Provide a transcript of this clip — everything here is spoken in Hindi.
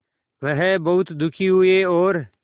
वह बहुत दुखी हुए और